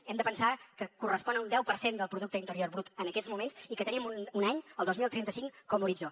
hem de pensar que correspon a un deu per cent del producte interior brut en aquests moments i que tenim un any el dos mil trenta cinc com a horitzó